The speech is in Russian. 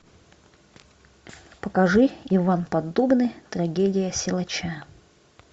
покажи иван поддубный трагедия силача